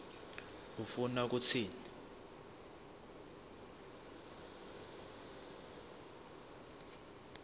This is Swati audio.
ufuna kutsini